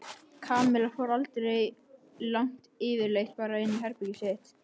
Kamilla fór aldrei langt yfirleitt bara inn í herbergið sitt.